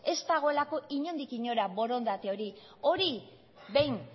ez dagoelako inondik inora borondate hori hori behin